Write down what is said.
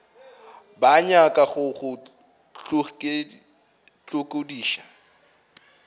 ba nyaka go go hlokiša